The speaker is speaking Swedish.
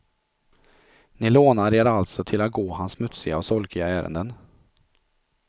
Ni lånar er alltså till att gå hans smutsiga och solkiga ärenden.